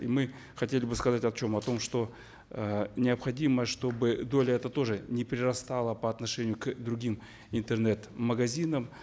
и мы хотели бы сказать о чем о том что э необходимо чтобы доля эта тоже не перерастала по отношению к другим интернет магазинам